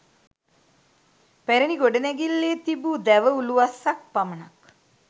පැරණි ගොඩනැගිල්ලේ තිබූ දැව උළුවස්සක් පමණක්